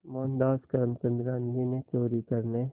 मोहनदास करमचंद गांधी ने चोरी करने